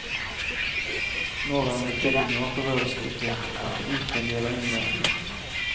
Nåværende bygninger berøres ikke, hverken utvendig eller innvendig.